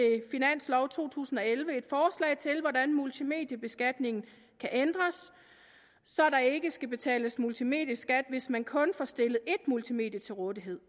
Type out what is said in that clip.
finansloven for to tusind og elleve et forslag til hvordan multimediebeskatningen kan ændres så der ikke skal betales multimedieskat hvis man kun får stillet ét multimedie til rådighed